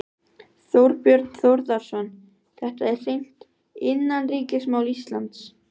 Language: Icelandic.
Þorbjörn Þórðarson: Þetta er hreint innanríkismál Íslands?